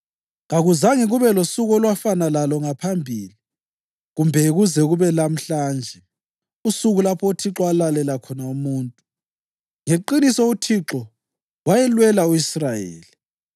Kakuzange kube losuku olwafana lalo ngaphambili kumbe kuze kube lamhlanje, usuku lapho uThixo alalela khona umuntu. Ngeqiniso uThixo wayelwela u-Israyeli!